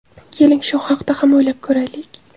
Keling, shu haqda ham o‘ylab ko‘raylik.